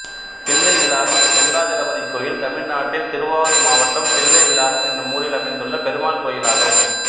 தில்லைவிளாகம் வெங்கிடாஜலபதி கோயில் தமிழ்நாட்டில் திருவாரூர் மாவட்டம் தில்லைவிளாகம் என்னும் ஊரில் அமைந்துள்ள பெருமாள் கோயிலாகும்